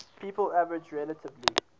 people average relatively